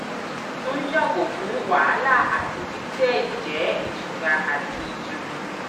tun yago fun wahala ati titẹ jẹ itura ati itunu